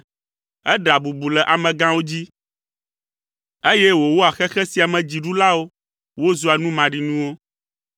Eɖea bubu le amegãwo dzi, eye wòwɔa xexe sia me dziɖulawo wozua nu maɖinuwo.